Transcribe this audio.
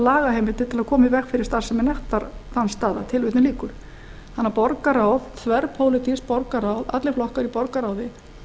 lagaheimildir til að koma í veg fyrir starfsemi nektardansstaða þannig að þverpólitískt borgarráð allir flokkar í borgarráði